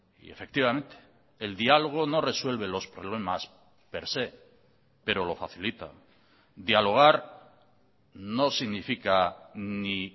y efectivamente el diálogo no resuelve los problemas per se pero lo facilita dialogar no significa ni